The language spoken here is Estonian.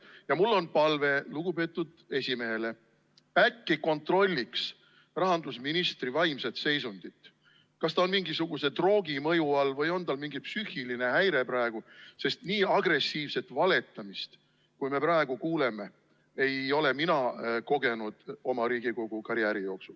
Ja mul on palve lugupeetud esimehele: äkki kontrolliks rahandusministri vaimset seisundit, kas ta on mingisuguse droogi mõju all või on tal mingi psüühiline häire praegu, sest nii agressiivset valetamist, kui me praegu kuuleme, ei ole mina kogenud kogu oma Riigikogu karjääri jooksul.